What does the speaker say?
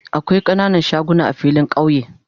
Akwai kananan shagunan a filin kauye